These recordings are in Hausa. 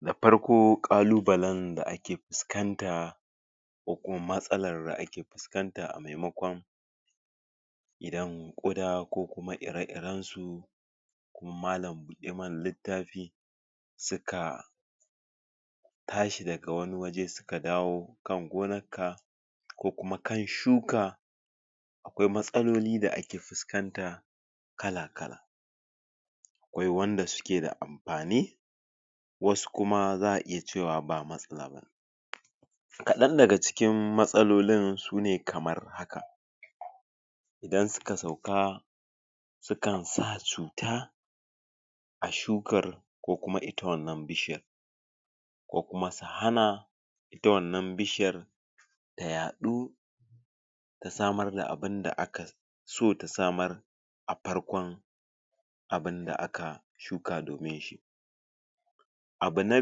da farko ƙaluɓalen da ake fuskanta ko kuma matsalan rda ake fuskanta a maimakon idan ƙuda ko kuma ire irensu ko mallam buɗe mana littafi suka tashi daga wani waje ka dawo kan gonanka ko kuma kan shuka akwai matsaloli da ake fuskanta kala kala akwai wanda suke da anfani wasu kuma za'a iya cewa ba matsala bane kaɗan daga cikin matsalolin sune kamar haka idan suka sauka sukan sa cuta a shukar kokuma ita wannan bishiyar ko kuma su hana ita wannan bishiyar tayaɗu ta samar da abunda aka so ta samar a farkon abun da aka shuka domin shi abu na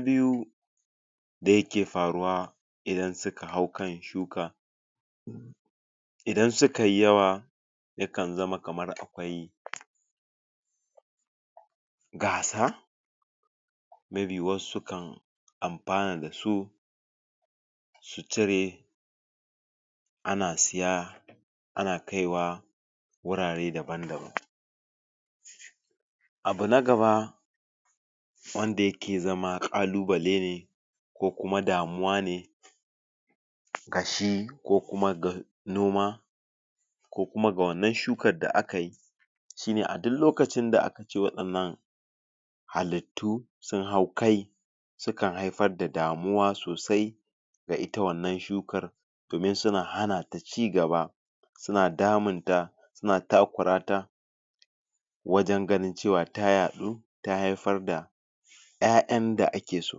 biyu da yake faruwa idan suka haukan shuka idan suka yi yawa yakan zama kamar akwai gasa may be wasu kan anfana dasu su tare ana saya ana kaiwa wurare daban daban abu na gaba wanda yake zama Ƙaluɓale ne ko kuma damuwa ne ga shi gashi ko kuma ga ko kuma ga noma ko kuma ga wannan shukan da akayi shi ne a duk lokacin da ce wadannan halittu sun hau kai sukan haifar da damuwa sosai ga ita wannan shukar domin suna hanata cigaba suna damunta suna takura ta wajan ganin cewa tayaɗu ta haifar da ƴaƴanda akeso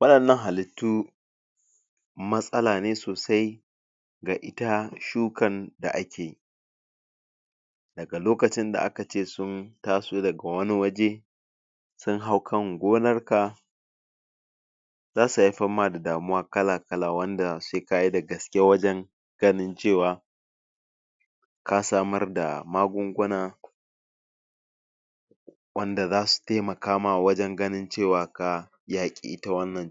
waɗannan hallitu matsala ne sosai ga ita shukan da akeyi daga lokacin da akace sun taso daga wani waje sun haukan gonarka zasu haifan ha da damuwa kala kala wanda sai kayi da gaske wajan ganin cewa kasamar da magunguna wanda zasu taimaka ma wajan ganin cewa ka yaƘi ita wannan cuta